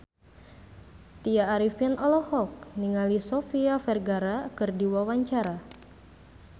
Tya Arifin olohok ningali Sofia Vergara keur diwawancara